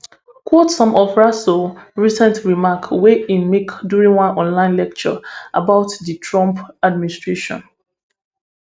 quote some of rasool recent remarks wey im make during one online lecture about di trump administration